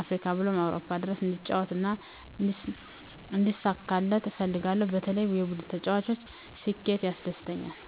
አፍሪካ ብሎም አውሮፓ ድረስ እንዲጫወት እና እንዲሳካለት እፈልጋለሁ በተለይ የቡድኑ ተጫዋች ስኬት ያስደስተኛል።